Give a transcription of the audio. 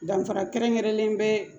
Danfara kɛrɛnkɛrɛnlen bɛ